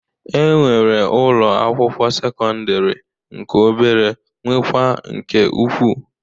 E nwere ụlọ akwụkwọ sekọndịrị nke obere nwekwa nke ukwu.